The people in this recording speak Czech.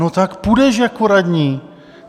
No, tak půjdeš jako radní.